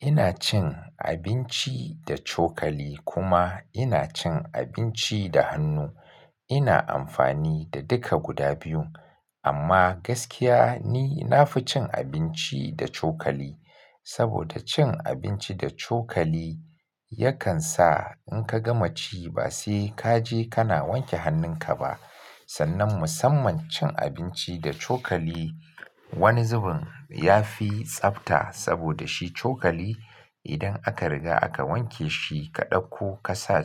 Ina cin abinci da cokali kuma ina cin abinci da hannu. Ina amfani da duka guda biyun, amma gaskiya ni na fi cin abinci da cokali. Saboda cin abinci da cokali yakan sa in ka gama ci ba sai ka je ka na wanke hannun ka ba. Sannan musamman cin abinci da cokali wani zubin ya fi tsabta saboda shi cokali idan aka riga aka wanke shi ka ɗauko ka sa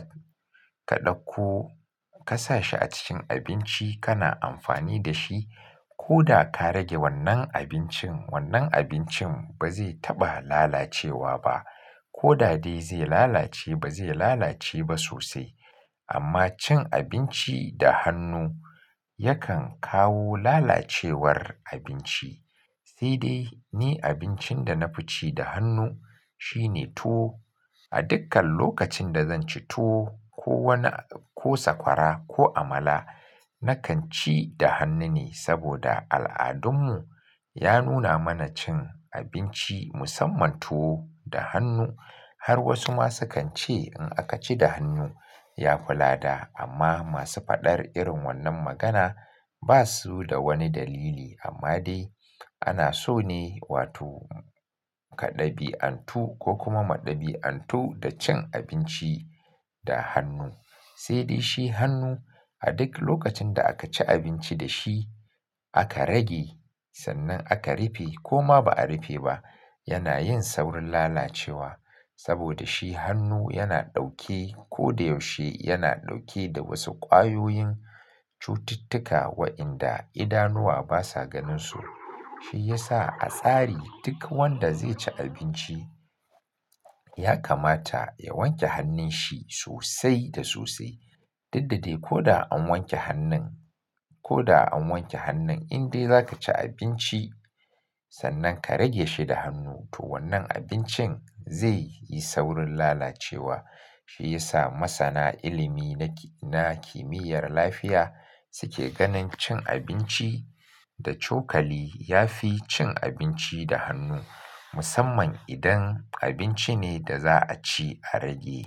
ka ɗauko ka sa shi a cikin abinci kana amfani da shi ko da ka rage wannan abincin wannan abincin ba zai taɓa lalacewa ba. Ko da dai zai lalace ba zai lalace ba sosai. Amma cin abinci da hannu yakan kawo lalacewar abinci. Sai dai ni abincin da na fi ci da hannu shine tuwo. A dukkan lokacin da zan ci tuwo ko wani-- ko sakwara ko amala nakan ci da hannu ne saboda al'adun mu ya nuna mana cin abinci musamman tuwo da hannu. Har wasu ma su kan ce in aka ci da hannu ya fi lada. Amma masu faɗar irin wannan magana ba su da wani dalili. Amma dai ana so ne wato ka ɗabi'antu ko kuma mu ɗabi'antu da cin abinci da hannu. Sai dai shi hannu a duk lokacin da aka ci abinci da shi aka rage sannan aka rufe ko ma ba a rufe ba yana yin saurin lalacewa. Saboda shi hannu yana ɗauke ko da yaushe yana ɗauke da wasu ƙwayoyin cututtuka wa'inda idanuwa basa ganin su. Shi ya sa a tsari duk wanda zai ci abinci ya kamata ya wanke hannun shi sosai da sosai. Duk da dai ko da an wanke hannun, ko da an wanke hannun in dai za ka ci abinci sannan ka rage shi da hannu to wannan abincin zai yi saurin lalacewa. Shi ya sa masana ilimi na, na kimiyyar lafiya suke ganin cin abinci da cokali ya fi cin abinci da hannu. Musamman idan abinci ne da za'a ci a rage.